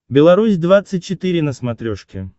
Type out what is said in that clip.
беларусь двадцать четыре на смотрешке